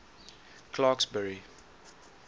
clarksburry